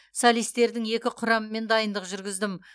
солистердің екі құрамымен дайындық жүргіздім